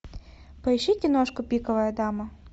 поищи киношку пиковая дама